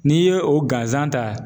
N'i ye o gansan ta